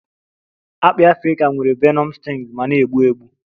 Akpị Afrika nwere venom stings ma na-egbu egbu